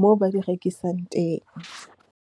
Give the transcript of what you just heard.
moo ba di rekisang teng.